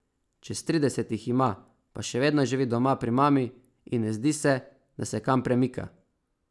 Čez trideset jih ima, pa še vedno živi doma pri mami in ne zdi se, da se kam premika.